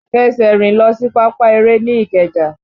Fẹsẹ̀ rìn lọ sí pápá eré ní ìkeja!